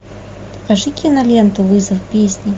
покажи киноленту вызов песни